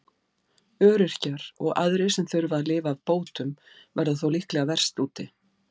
Öryrkjar og aðrir sem þurfa að lifa af bótum verða þó líklega verst úti.